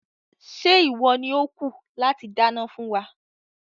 Ṣé ìwọ ni ó kù láti dáná fún wa?